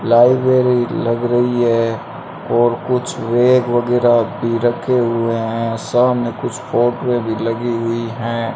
Library लग रही है और कुछ बैग वगैरा भी रखे हुए है सामने कुछ पौधे भी लगी हुई है।